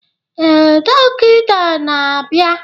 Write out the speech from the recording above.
Ee, dọkịta na-abịa